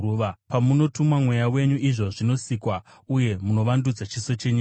Pamunotuma Mweya wenyu, izvo zvinosikwa, uye munovandudza chiso chenyika.